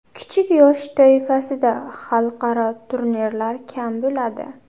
Kichik yosh toifasida xalqaro turnirlar kam bo‘ladi.